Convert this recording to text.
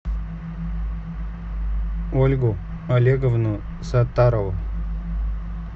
ольгу олеговну саттарову